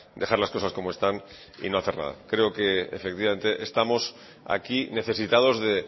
dejar las cosas como están y no hacer nada creo que efectivamente estamos aquí necesitados de